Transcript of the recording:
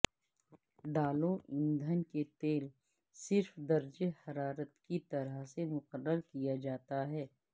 ڈالو ایندھن کے تیل صرف درجہ حرارت کی طرف سے مقرر کیا جاتا ہے